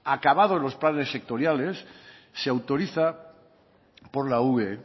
acabados los planes sectoriales se autoriza por la ue